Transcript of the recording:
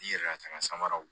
N'i yɛrɛ ka taa n'a sanmaraw